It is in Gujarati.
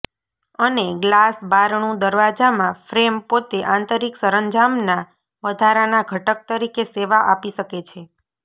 અને ગ્લાસ બારણું દરવાજામાં ફ્રેમ પોતે આંતરિક સરંજામના વધારાના ઘટક તરીકે સેવા આપી શકે છે